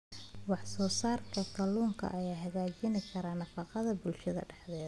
Wax soo saarka kalluunka ayaa hagaajin kara nafaqada bulshada dhexdeeda.